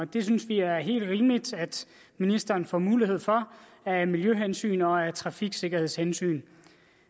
det synes vi er helt rimeligt at ministeren får mulighed for af miljøhensyn og af trafiksikkerhedshensyn